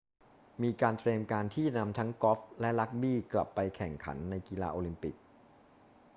มีการเตรียมการที่จะนำทั้งกอล์ฟและรักบี้กลับไปแข่งขันในกีฬาโอลิมปิก